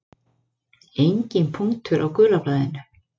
Enginn punktur á gula blaðinu.